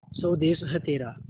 स्वदेस है तेरा